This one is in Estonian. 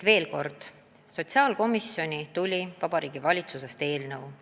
Veel kord: sotsiaalkomisjoni tuli Vabariigi Valitsusest eelnõu.